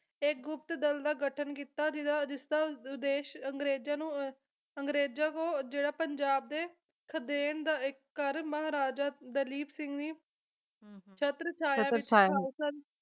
ਇੱਕ ਗੁਪਤ ਦਲ ਦਾ ਗਠਨ ਕੀਤਾ ਜਿਹਦਾ ਜਿਸਦਾ ਉਦੇਸ਼ ਅੰਗਰੇਜਾਂ ਨੂੰ ਅਹ ਅੰਗਰੇਜਾਂ ਕੋਲ ਜਿਹੜਾ ਪੰਜਾਬ ਦੇ ਖਦੇਣ ਦਾ ਇੱਕ ਘਰ ਮਹਾਰਾਜਾ ਦਲੀਪ ਸਿੰਘ ਜੀ ਸ਼ਤਰ ਛਾਇਆ